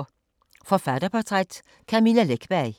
Forfatterportræt: Camilla Läckberg